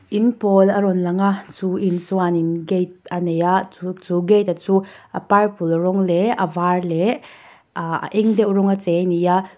in pawl a rawng lang a chu in chuanin gate a nei a chu gate a chu a purple rawng leh a var leh aa a eng deuh rawnga chei a ni a.